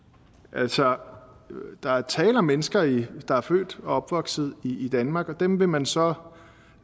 altså der er tale om mennesker der er født og opvokset i danmark og dem vil man så